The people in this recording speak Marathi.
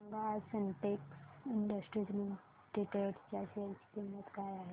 सांगा आज सिन्टेक्स इंडस्ट्रीज लिमिटेड च्या शेअर ची किंमत काय आहे